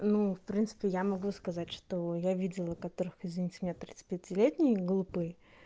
ну в принципе я могу сказать что я видела у которых из них семья тридцати пяти летние глупые